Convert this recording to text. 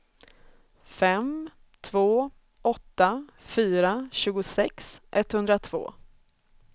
fem två åtta fyra tjugosex etthundratvå